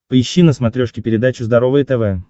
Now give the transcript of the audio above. поищи на смотрешке передачу здоровое тв